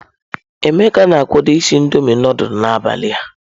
Emeka na-akwado isi Indọmiị nudulu n'abalị a.